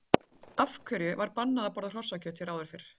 Af hverju var bannað að borða hrossakjöt hér áður fyrr?